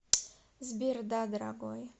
сбер да дорогой